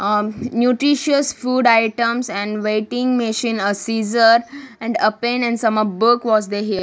ah nutritious food items and waiting machine a scissor and a pen and some of books was the here.